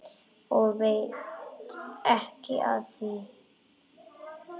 Og veit ekki af því.